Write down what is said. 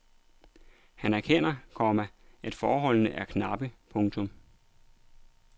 Han erkender, komma at forholdene er knappe. punktum